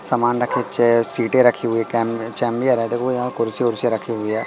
सामान रखे है सीटे रखी हुई देखो यहां कुर्सी उर्सी रखी हुए--